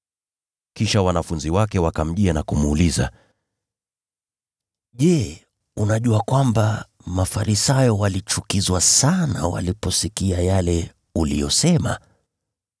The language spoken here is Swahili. Kisha wanafunzi wake wakamjia na kumuuliza, “Je, unajua kwamba Mafarisayo walichukizwa sana waliposikia yale uliyosema?”